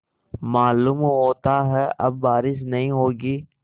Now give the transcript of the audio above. मालूम होता है अब बारिश नहीं होगी